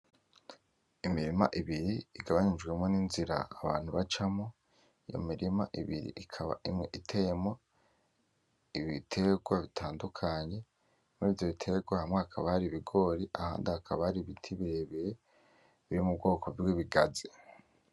Imirima ibiri igabanijwemwo n'inzira abantu bacamwo . Imirima ibiri ikaba imwe iteyemwo ibiterwa bitandukanye. Murivyo biterwa hamwe hakaba hari ibigori, ahandi hakaba hari ibiti birebire biri mu bwoko bw'ibigazi.